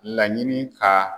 Laɲini ka